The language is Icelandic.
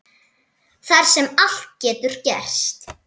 Þar sem allt getur gerst.